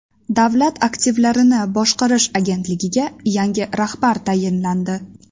Davlat aktivlarini boshqarish agentligiga yangi rahbar tayinlandi.